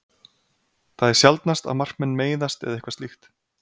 Það er sjaldnast að markmenn meiðast eða eitthvað slíkt.